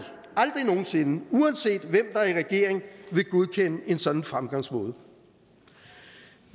nogen sinde uanset hvem der er i regering vil godkende en sådan fremgangsmåde